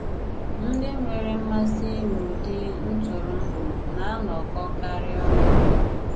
Ndị nwèrè mmasị n’ụ̀dị̀ ntụrụndụ na-anọkọ̀karị ọnụ.